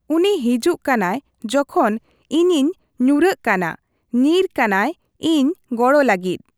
ᱩᱱᱤ ᱦᱤᱡᱩᱜ ᱠᱟᱱᱟᱭ ᱡᱚᱠᱷᱚᱱ ᱤᱧᱤᱧ ᱧᱩᱨᱚᱜ ᱠᱟᱱᱟ ᱧᱤᱨ ᱠᱟᱱᱟᱭ ᱤᱧ ᱜᱚᱲᱚ ᱞᱟᱹᱜᱤᱫ᱾